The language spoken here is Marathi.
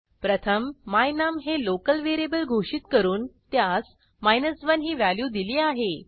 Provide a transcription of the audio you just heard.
प्रथम my num हे लोकल व्हेरिएबल घोषित करून त्यास 1 ही व्हॅल्यू दिली आहे